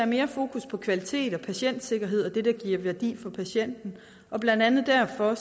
mere fokus på kvalitet og patientsikkerhed og det der giver værdi for patienten og blandt andet derfor